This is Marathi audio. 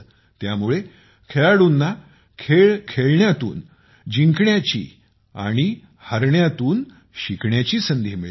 त्यामुळे खेळाडूंना खेळ खेळण्यातून जिंकण्याहारण्यातून शिकण्याची संधी मिळते